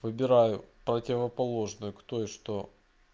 выбираю противоположную кто и что